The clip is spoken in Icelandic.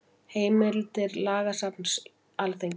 Heimildir Lagasafn Alþingis.